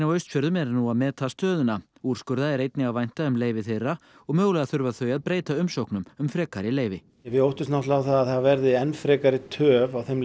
á Austfjörðum eru nú að meta stöðuna úrskurða er einnig að vænta um leyfi þeirra og mögulega þurfa þau að breyta umsóknum um frekari leyfi við óttumst náttúrulega að það verði enn frekari töf á þeim